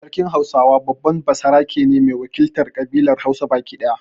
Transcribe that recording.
Sarkin Hausawa babban basarake ne mai wakiltar ƙabilar Hausa baki daya.